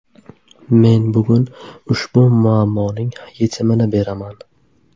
Men bugun ushbu muammoning yechimini beraman.